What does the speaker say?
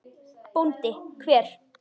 BÓNDI: Hver?